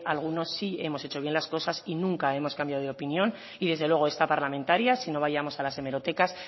alguno sí hemos hecho bien las cosas y nunca hemos cambiado de opinión y desde luego esta parlamentaria si no vayamos a las hemerotecas